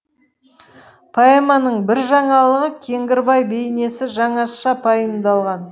поэманың бір жаңалығы кеңгірбай бейнесі жаңаша пайымдалған